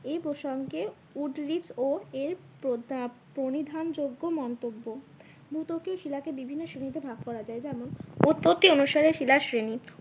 এই প্রসঙ্গে ও এর প্রণিধান যোগ্য মন্তব্য ভূত্বকীয় শিলাকে বিভিন্ন শ্রেণীতে ভাগ করা যায় যেমন উৎপত্তি অনুসারে শিলার শ্রেণী।